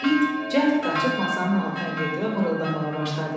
İt cəld qaçıb masanın altına girdi və mırıltamağa başladı.